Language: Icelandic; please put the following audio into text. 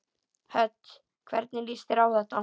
Hödd: Hvernig líst þér á þetta?